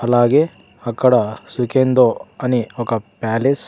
అలాగే అక్కడ సికెందో అని ఒక ప్యాలెస్ .